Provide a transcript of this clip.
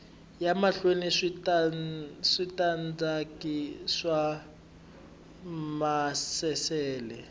ya mahlweni switandati swa maasesele